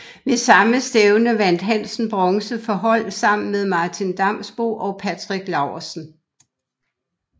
Ved samme stævne vandt Hansen bronze for hold sammen med Martin Damsbo og Patrick Laursen